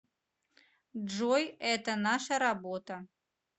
джой это наша работа